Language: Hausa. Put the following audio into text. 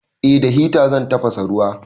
Eh da hita zan tafasa ruwa.